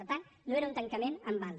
per tant no era un tancament en banda